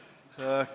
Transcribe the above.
Lugupeetud kolleegid!